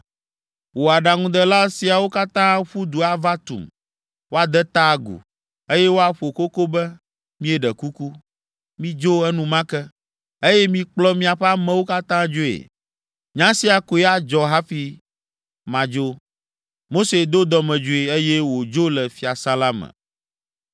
Wò aɖaŋudela siawo katã aƒu du ava tum, woade ta agu, eye woaƒo koko be, ‘Míeɖe kuku, midzo enumake, eye mikplɔ miaƒe amewo katã dzoe.’ Nya sia koe adzɔ hafi madzo!” Mose do dɔmedzoe, eye wòdzo le fiasã la me.